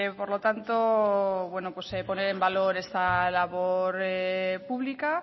por lo tanto bueno pues poner en valor esta valor pública